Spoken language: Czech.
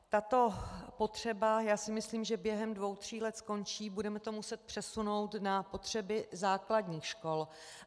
Tato potřeba si myslím, že během dvou tří let skončí, budeme to muset přesunout na potřeby základních škol.